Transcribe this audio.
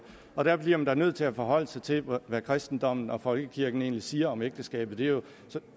og der bliver man da nødt til at forholde sig til hvad kristendommen og folkekirken egentlig siger om ægteskabet det er